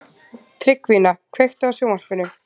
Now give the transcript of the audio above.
Tryggvína, kveiktu á sjónvarpinu.